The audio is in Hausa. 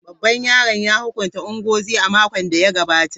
Babban yaron ya hukunta Ngozi a makon da ya gabata.